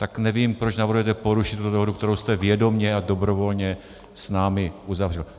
Tak nevím, proč navrhujete porušit tuto dohodu, kterou jste vědomě a dobrovolně s námi uzavřel.